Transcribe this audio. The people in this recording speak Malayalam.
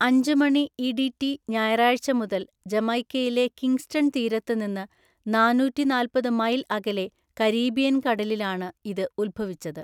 അഞ്ചുമണി ഇഡിറ്റി ഞായറാഴ്ച മുതൽ, ജമൈക്കയിലെ കിംഗ്സ്റ്റൺ തീരത്ത് നിന്ന് നാന്നൂറ്റിനാല്പത് മൈൽ അകലെ കരീബിയൻ കടലിലാണ് ഇത് ഉത്ഭവിച്ചത്.